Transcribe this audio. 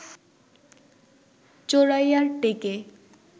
চোরাইয়ার টেকে